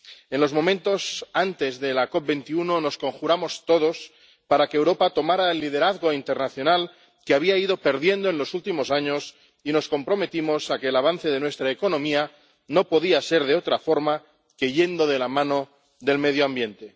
En los momentos antes de la COP21 nos conjuramos todos para que Europa tomara el liderazgo internacional que había ido perdiendo en los últimos años y nos comprometimos a que el avance de nuestra economía tuviese que ir de la mano del medio ambiente.